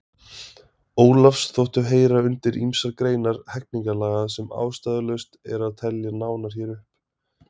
Ólafs þóttu heyra undir ýmsar greinar hegningarlaga sem ástæðulaust er að telja nánar hér upp.